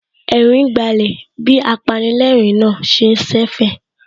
Ẹ̀rín gbálẹ̀ bí apanilẹ́ẹ̀rín náà ṣe ń ṣẹ̀fẹ̀